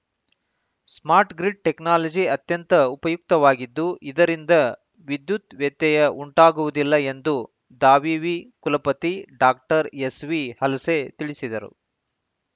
smart grid technology ಅತ್ಯಂತ ಉಪಯುಕ್ತವಾಗಿದ್ದು ಇದರಿಂದ ವಿದ್ಯುತ್‌ ವ್ಯತ್ಯಯ ಉಂಟಾಗುವುದಿಲ್ಲ ಎಂದು ದಾವಿವಿ ಕುಲಪತಿ ಡಾಎಸ್‌ವಿಹಲಸೆ ತಿಳಿಸಿದರು